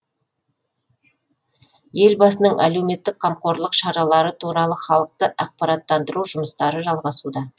елбасының әлеуметтік қамқорлық шаралары туралы халықты ақпараттандыру жұмыстары жалғасуда